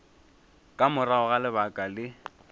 ka morago ga lebaka le